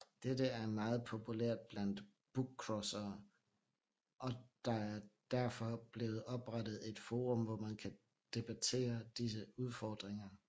Dette er meget populært blandt bookcrossere og der er derfor blevet oprettet et forum hvor man kan debattere disse udfordringer